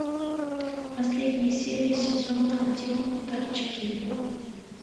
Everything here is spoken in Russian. последняя серия сезона один торчки